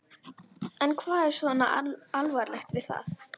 En hvað er svona alvarlegt við það?